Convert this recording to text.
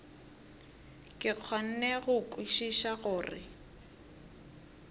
ke kgone go kwešiša gore